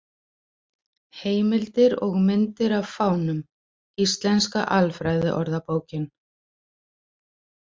Heimildir og myndir af fánum: Íslenska alfræðiorðabókin.